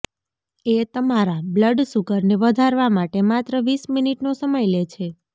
એ તમારા બ્લડસુગરને વધારવા માટે માત્ર વીસ મિનિટનો સમય લે છે